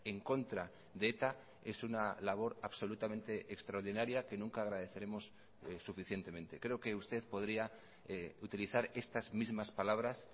en contra de eta es una labor absolutamente extraordinaria que nunca agradeceremos suficientemente creo que usted podría utilizar estas mismas palabras